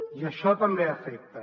i això també afecta